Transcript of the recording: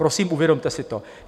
Prosím, uvědomte si to.